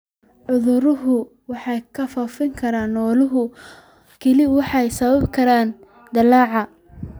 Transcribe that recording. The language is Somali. Cuduradu waxay ku faafi karaan xoolaha kale waxayna sababi karaan dillaac.